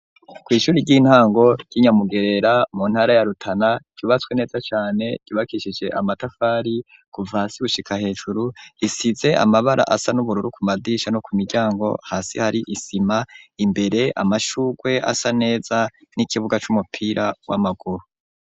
Kw'ishuri ry'intango, ry'i Nyamugerera, mu ntara ya Rutana, ryubatswe neza cane, ryubakishije amatafari, kuva hasi gushika hejuru; isize amabara asa n’ubururu, ku madisha no ku miryango; hasi hari isima, imbere amashurwe, asa neza, n'ikibuga c'umupira, w'amaguru.